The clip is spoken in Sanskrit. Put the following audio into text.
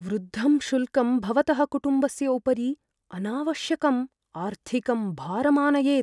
वृद्धं शुल्कं भवतः कुटुम्बस्य उपरि अनावश्यकं आर्थिकं भारम् आनयेत्।